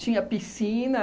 Tinha piscina.